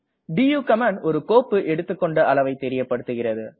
to command ஒரு கோப்பு எடுத்துக்கொண்ட அளவை தெரியப்படுகிறது